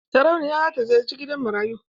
Sarauniya za ta ziyarci gidan marayu.